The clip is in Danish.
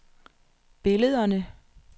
billederne